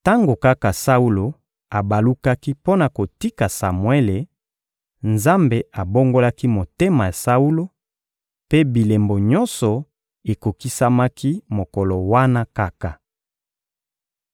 Tango kaka Saulo abalukaki mpo na kotika Samuele, Nzambe abongolaki motema ya Saulo, mpe bilembo nyonso ekokisamaki mokolo wana kaka.